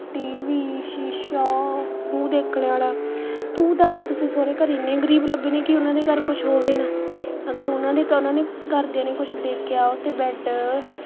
tv ਸ਼ੀਸ਼ਾ ਮੂੰਹ ਦੇਖਣੇ ਵਾਲਾ, ਤੂੰ ਦੱਸ ਤੁਸੀ ਸਹੁਰੇ ਘਰ ਐਠੇ ਗਰੀਬ ਲੱਭਣੇ ਨੇ ਕਿ ਉਹਨਾਂ ਦੇ ਘਰ ਕੁੱਛ ਹੋਵੇ ਨਾ ਅਗਰ ਉਹਨਾਂ ਦੇ ਉਹਨਾਂ ਨੇ ਘਰਦਿਆਂ ਨੇ ਕੁੱਛ ਦੇਖਿਆ ਓਥੇ bed